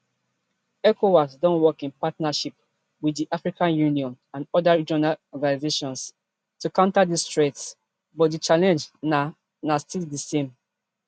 ecowas don work in partnership wit di african union and oda regional organisations to counter dis threats but di challenge na na still di same